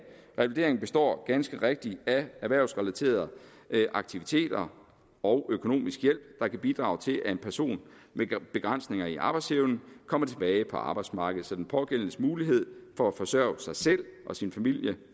revalidering består ganske rigtigt af erhvervsrelaterede aktiviteter og økonomisk hjælp der kan bidrage til at en person med begrænsninger i arbejdsevnen kommer tilbage på arbejdsmarkedet så den pågældendes mulighed for at forsørge sig selv og sin familie